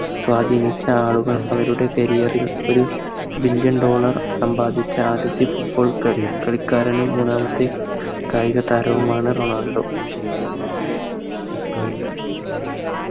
സ്വാധീനിച്ച ആളുകൾ അവരുടെ Career ൽ ഒരു Billoin dollar സമ്പാദിച്ച ആദ്യത്തെ Football കളിക്കാരനും മൂന്നാമത്തെ കായികതാരവുമാണ് റൊണാൾഡോ